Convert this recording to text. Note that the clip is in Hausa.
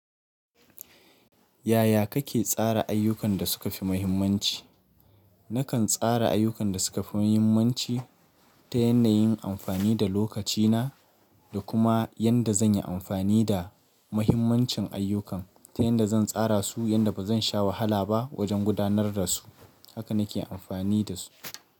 Yaya kake tsara ayyukan da suka fi muhimmanci? Nakan tsara ayyukan da suka fi muhimmanci ta yanayin amfani da lokacina da kuma yanda zan yi amfani da muhimmancin ayyukan ta yadda zan tsara su yadda ba zan sha wahala ba wajen gudanar da su. Haka na ke amfani da su.